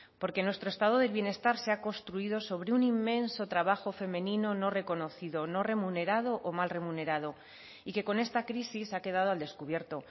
porque nuestro estado del bienestar se ha construido sobre un inmenso trabajo femenino no reconocido no remunerado o mal remunerado y que con esta crisis ha quedado al descubierto